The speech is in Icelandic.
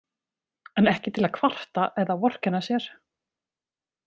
En ekki til að kvarta eða vorkenna sér.